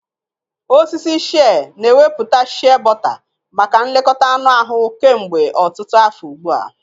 Osisi shịẹ́ na ewepụta shịẹ́bọta maka nlekọta anụ ahụ kemgbe ọtụtụ afọ ugbu a.